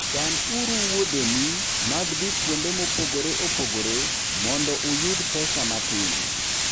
Chanuru wuodheni mag dhi kuonde mopogore opogore mondo uyud pesa matin.